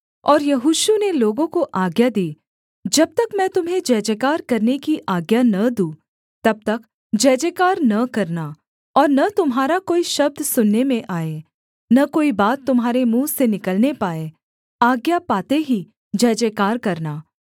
और यहोशू ने लोगों को आज्ञा दी जब तक मैं तुम्हें जयजयकार करने की आज्ञा न दूँ तब तक जयजयकार न करना और न तुम्हारा कोई शब्द सुनने में आए न कोई बात तुम्हारे मुँह से निकलने पाए आज्ञा पाते ही जयजयकार करना